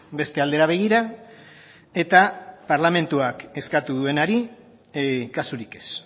beste aldera begira eta parlamentuak eskatu duenari kasurik ez